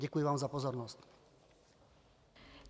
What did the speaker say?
Děkuji vám za pozornost.